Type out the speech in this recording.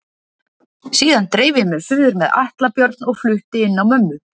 Síðan dreif ég mig suður með Atla Björn og flutti inn á mömmu.